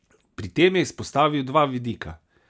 Pri tem je izpostavil dva vidika.